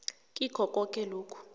kikho koke lokhu